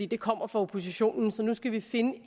det kommer fra oppositionen så nu skal vi finde et